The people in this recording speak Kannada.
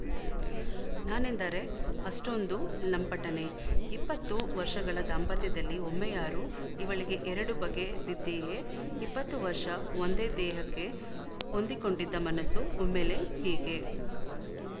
ನಾನೆಂದರೆ ಅಷೆ್ಟೂಂದು ಲಂಪಟನೇ ಇಪ್ಪತ್ತು ವರ್ಷಗಳ ದಾಂಪತ್ಯದಲ್ಲಿ ಒಮ್ಮೆಯಾರೂ ಇವಳಿಗೆ ಎರಡು ಬಗೆದಿದ್ದೇಯೇ ಇಪ್ಪತ್ತು ವರ್ಷ ಒಂದೇ ದೇಹಕ್ಕೆ ಹೊಂದಿಕೊಂಡಿದ್ದ ಮನಸ್ಸು ಒಮ್ಮೆಲೇ ಹೀಗೆ